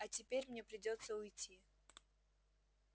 а теперь мне придётся уйти